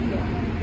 Vaxt düşdü.